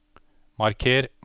marker